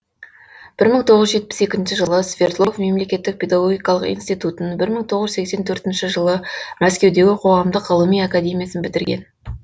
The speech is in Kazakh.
бір мың тоғыз жүз жетпіс екінші жылы свердлов мемлекеттік педагогикалық институтын бір мың тоғыз жүз сексен төртінші жылы мәскеудегі қоғамдық ғылыми академиясын бітірген